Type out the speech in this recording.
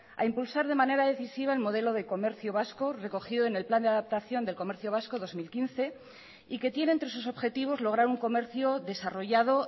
a impulsar de manera decisiva el modelo de comercio vasco recogido en el plan de adaptación del comercio vasco dos mil quince y que tiene entre sus objetivos lograr un comercio desarrollado